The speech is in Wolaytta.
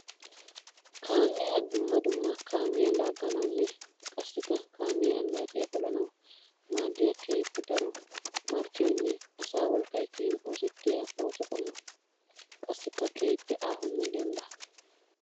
Kaamiya dumma dumma kaamiya laaganawunne qassikka kaamiya annacciya pollanawu maadiya keehippe daro marccoynne asaa wolqqay kiyin oosettiya ooso qommo. Qassikka keehippe aahonne dembba.